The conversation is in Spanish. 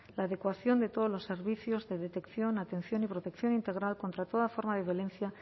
la adecuación de todos los servicios de detección atención y protección integral contra toda forma de violencia